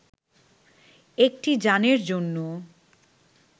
একটি যানের জন্য